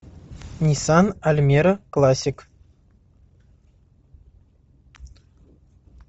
ниссан альмера классик